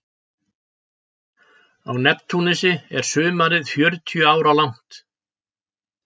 Á Neptúnusi er sumarið fjörutíu ára langt.